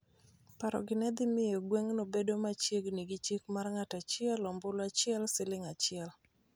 Paro gi nedhi miyo gweng'no bedo machiegni gi chik mar ng'ato achiel, ombulu achiel, siling achiel